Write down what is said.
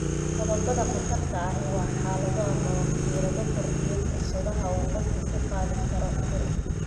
Qodobbada khatarta ahi waa xaalado ama wakiilada kordhiya fursadaha uu qofku ku qaadi karo cudur.